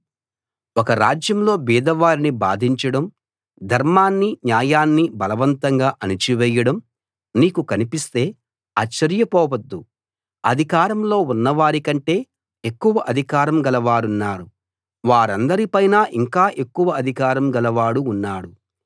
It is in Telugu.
ఒక రాజ్యంలో బీదవారిని బాధించడం ధర్మాన్ని న్యాయాన్ని బలవంతంగా అణచివేయడం నీకు కనిపిస్తే ఆశ్చర్యపోవద్దు అధికారంలో ఉన్నవారికంటే ఎక్కువ అధికారం గలవారున్నారు వారందరి పైన ఇంకా ఎక్కువ అధికారం గలవాడు ఉన్నాడు